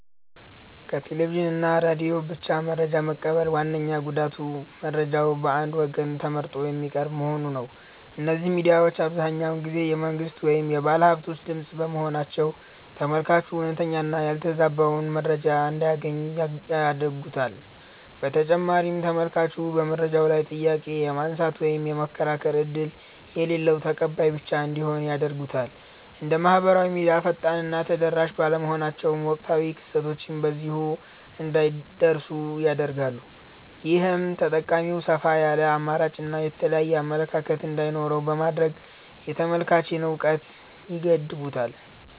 ከቴሌቪዥን እና ሬዲዮ ብቻ መረጃ መቀበል ዋነኛው ጉዳቱ መረጃው በአንድ ወገን ተመርጦ የሚቀርብ መሆኑ ነው። እነዚህ ሚዲያዎች አብዛኛውን ጊዜ የመንግሥት ወይም የባለሃብቶች ድምፅ በመሆናቸው፤ ተመልካቹ እውነተኛውንና ያልተበረዘውን መረጃ እንዳያገኝ ያግዱታል። በተጨማሪም ተመልካቹ በመረጃው ላይ ጥያቄ የማንሳት ወይም የመከራከር ዕድል የሌለው ተቀባይ ብቻ እንዲሆን ያደርጉታል። እንደ ማኅበራዊ ሚዲያ ፈጣንና ተደራሽ ባለመሆናቸውም፣ ወቅታዊ ክስተቶች በጊዜው እንዳይደርሱን ያደርጋሉ። ይህም ተጠቃሚው ሰፋ ያለ አማራጭና የተለያየ አመለካከት እንዳይኖረው በማድረግ የተመልካችን እውቀት ይገድቡታል።